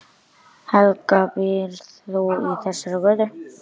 Helga: Býrð þú í þessari götu?